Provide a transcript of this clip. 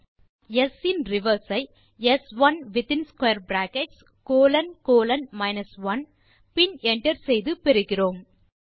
நாம் s in reverse i ஸ்1 மற்றும் within square brackets colon colon 1 பின் என்டர் செய்து பெறுகிறோம்